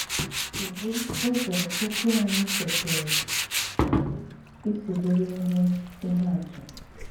Kédú ụ̀zọ ókwù ányị́ kwesírè ísì bụrụ íhé íhé àtụ́?